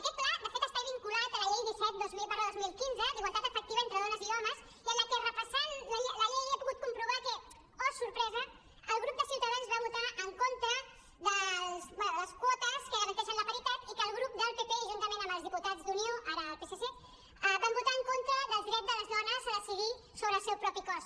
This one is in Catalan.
aquest pla de fet està vinculat a la llei disset dos mil quinze d’igualtat efectiva entre dones i homes i repassant la llei he pogut comprovar que oh sorpresa el grup de ciutadans va votar en contra de les quotes que garanteixen la paritat i que el grup del pp juntament amb els diputats d’unió ara al psc van votar en contra del dret de les dones a decidir sobre el seu propi cos